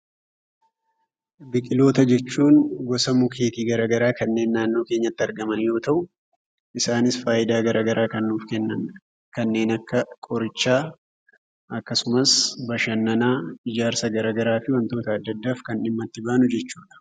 Biqiloota jechuun gosa mukkeetii garaa garaa kanneen naannoo keenyatti argaman yoo ta'u, isaanis faayidaa garaa garaa kan nuuf kennan, kanneen akka qorichaa akkasumas bashannanaa, ijaarsa gara garaa fi wantoota adda addaaf kan dhimmatti baanu jechuudha.